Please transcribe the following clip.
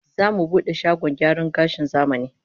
Zamu bude shagon gyaran gashin zamani